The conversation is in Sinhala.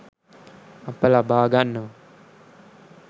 අප ලබා ගන්නවා